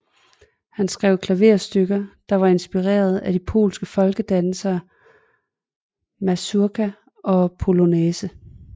Han skrev klaverstykker der var inspireret af de polske folkedanse mazurka og polonæse